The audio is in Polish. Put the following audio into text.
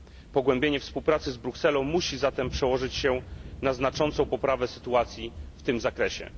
Pogłębienie współpracy z Brukselą musi zatem przełożyć się na znaczącą poprawę sytuacji w tym zakresie.